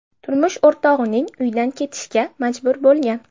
turmush o‘rtog‘ining uyidan ketishga majbur bo‘lgan.